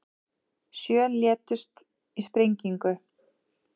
Sjö létust í sprengingu